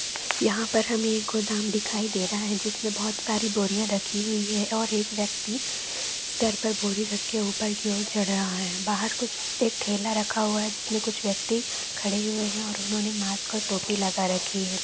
यहां पर हमें एक गोदाम दिखाई दे रहा है जिसमें बहुत सारी बोरियां रखी हुई है और एक व्यक्ति सर पर बोरी रख के ऊपर की और चढ़ रहा है। बाहर कुछ एक ठेला रखा हुआ जिस पर कुछ व्यक्ति खड़े हुए हैं और उन्होंने मास्क और टोपी लगा रखी है।